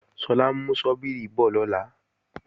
Sọlá ń mú ṣọ́bíìrì bọ̀ lọ́la